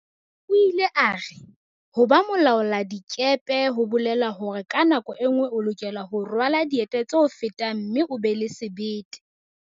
O ile a re, "ho ba mo laoladikepe ho bolela hore ka nako e nngwe o lokela ho rwala dieta tse o fetang mme o be le sebete."